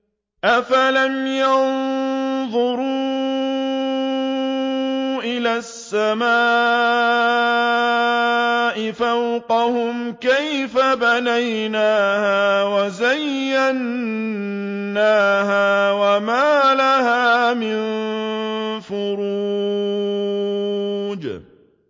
أَفَلَمْ يَنظُرُوا إِلَى السَّمَاءِ فَوْقَهُمْ كَيْفَ بَنَيْنَاهَا وَزَيَّنَّاهَا وَمَا لَهَا مِن فُرُوجٍ